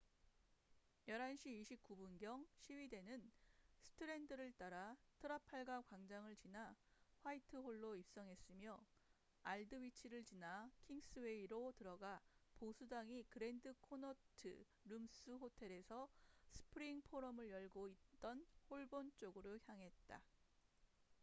11시 29분 경 시위대는 스트랜드를 따라 트라팔가 광장을 지나 화이트 홀로 입성했으며 알드 위치를 지나 킹스웨이로 들어가 보수당이 그랜드 코너트 룸스 호텔에서 스프링 포럼을 열고 있던 홀본 쪽으로 향했다